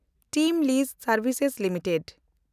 team ᱞᱤᱡ ᱥᱮᱱᱰᱵᱷᱤᱥᱮᱥ limited